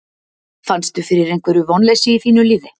Fannstu fyrir einhverju vonleysi í þínu liði?